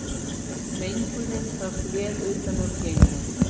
Mengunin sást vel utan úr geimi